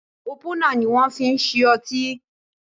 Ópúnà ni wọn fi ń ṣí ọtí